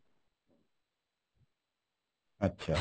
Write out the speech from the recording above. আচ্ছা